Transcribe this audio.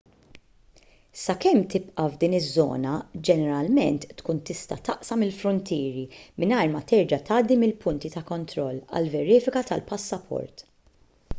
sakemm tibqa' f'din iż-żona ġeneralment tkun tista' taqsam il-fruntieri mingħajr ma terġa' tgħaddi mill-punti ta' kontroll għall-verifika tal-passaport